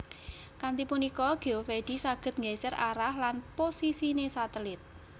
Kanthi punika Geovedi saged nggeser arah lan posisine satelit